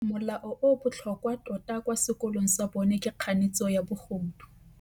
Molao o o botlhokwa tota kwa sekolong sa bone ke kganetsô ya bogodu.